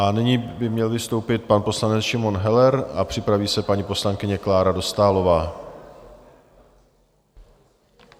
A nyní by měl vystoupit pan poslanec Šimon Heller a připraví se paní poslankyně Klára Dostálová.